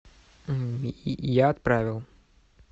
я отправил